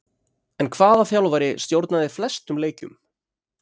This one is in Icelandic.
En hvaða þjálfari stjórnaði flestum leikjum?